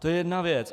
To je jedna věc.